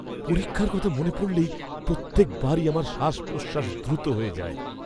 পরীক্ষার কথা মনে পড়লেই প্রত্যেকবারই আমার শ্বাস প্রশ্বাস দ্রুত হয়ে যায়।